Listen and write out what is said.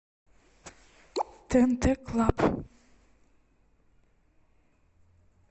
тнт клаб